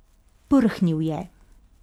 Prhnil je.